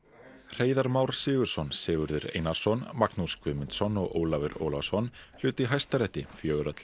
Hreiðar Már Sigurðsson Sigurður Einarsson Magnús Guðmundsson og Ólafur Ólafsson hlutu í Hæstarétti fjögurra til